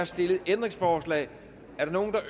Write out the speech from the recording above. stillet ændringsforslag